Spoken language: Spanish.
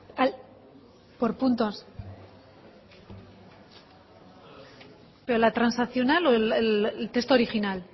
itxoin itxoin por puntos pero la transaccional o el texto original